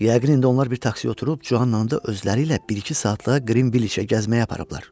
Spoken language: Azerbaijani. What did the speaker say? Yəqin indi onlar bir taksiyə oturub Cuanı da özləri ilə bir-iki saatlığa Qrinviçə gəzməyə aparıblar.